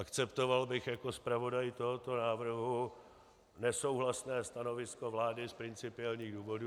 Akceptoval bych jako zpravodaj tohoto návrhu nesouhlasné stanovisko vlády z principiálních důvodů.